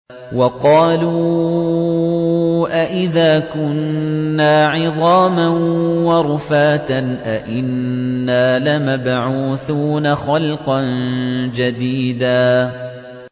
وَقَالُوا أَإِذَا كُنَّا عِظَامًا وَرُفَاتًا أَإِنَّا لَمَبْعُوثُونَ خَلْقًا جَدِيدًا